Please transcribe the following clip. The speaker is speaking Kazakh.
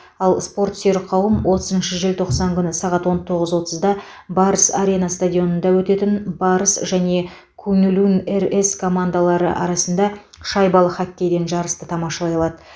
ал спортсүйер қауым отызыншы желтоқсан күні сағат он тоғыз отызда барыс арена стадионында өтетін барыс және куньлунь рс командалары арасында шайбалы хоккейден жарысты тамашалай алады